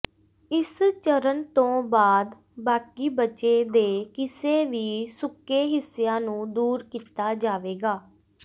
ਇਸ ਚਰਣ ਤੋਂ ਬਾਅਦ ਬਾਕੀ ਬਚੇ ਦੇ ਕਿਸੇ ਵੀ ਸੁੱਕੇ ਹਿੱਸਿਆਂ ਨੂੰ ਦੂਰ ਕੀਤਾ ਜਾਵੇਗਾ